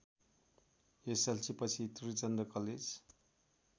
एसएलसीपछि Trichandra college